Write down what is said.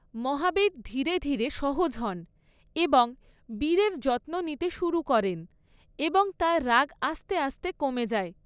মহাবীর ধীরে ধীরে সহজ হন এবং বীরের যত্ন নিতে শুরু করেন এবং তার রাগ আস্তে আস্তে কমে যায়।